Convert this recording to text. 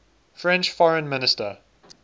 french foreign minister